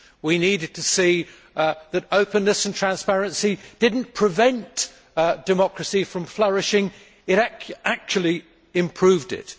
We needed to see that openness and transparency did not prevent democracy from flourishing, but actually improved it.